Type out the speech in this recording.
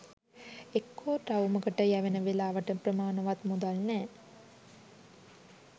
එක්කෝ ටවුමකට යැවෙන වෙලාවට ප්‍රමාණවත් මුදල් නැහැ